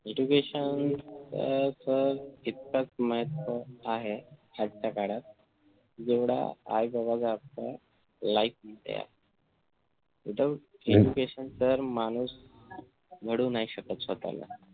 अह sir इतकातच महत्व आहे आजच्या काळात जेवढा आई बाबाचा हक्क life मध्ये आहे without education माणूस घडवू नाही शकत स्वतःला.